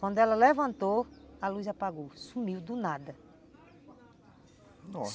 Quando ela levantou, a luz apagou, sumiu do nada.